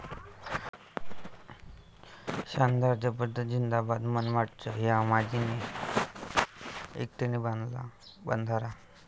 शानदार, जबरदस्त, झिंदाबाद..!,मनमाडच्या 'मांझी'ने एकट्याने बांधला बंधारा